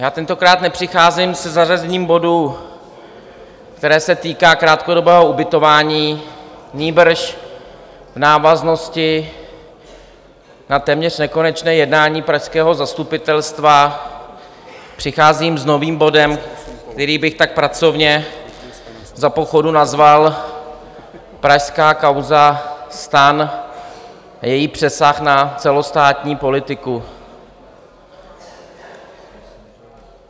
Já tentokrát nepřicházím se zařazením bodu, který se týká krátkodobého ubytování, nýbrž v návaznosti na téměř nekonečné jednání pražského zastupitelstva přicházím s novým bodem, který bych tak pracovně za pochodu nazval Pražská kauza STAN a její přesah na celostátní politiku.